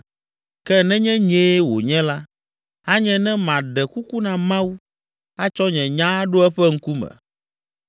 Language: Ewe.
“Ke nenye nyee wònye la, anye ne maɖe kuku na Mawu atsɔ nye nya aɖo eƒe ŋkume.